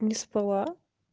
не спала